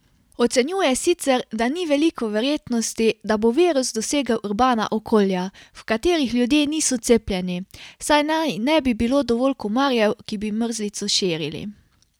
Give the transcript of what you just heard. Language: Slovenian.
Ocenjuje sicer, da ni veliko verjetnosti, da bo virus dosegel urbana okolja, v katerih ljudje niso cepljeni, saj naj ne bi bilo dovolj komarjev, ki bi mrzlico širili.